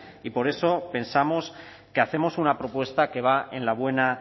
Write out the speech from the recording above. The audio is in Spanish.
y por eso pensamos que hacemos una propuesta que va en la buena